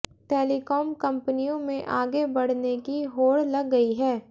telecom कंपनियों में आगे बढ़ने की होड़ लग गई है